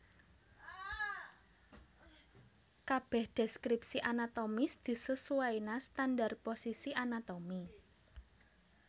Kabèh deskripsi anatomis disesuaina standar posisi anatomi